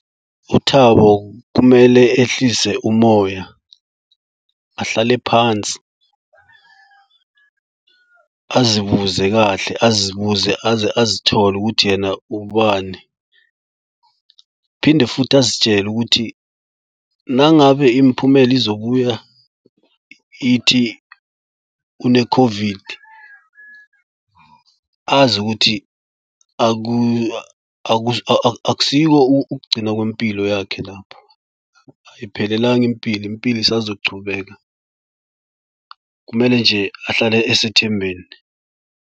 UThabo kumele ehlise umoya ahlale phansi, azibuze kahle azibuze aze azithole ukuthi yena ubani. Phinde futhi azitshele ukuthi nangabe imiphumela izobuya ithi une-COVID azi ukuthi akusiko ukugcina kwempilo yakhe lapho ayiphelelanga impilo impilo isazochubeka. Kumele nje ahlale esethembeni.